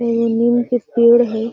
इ नीम के पेड़ हई|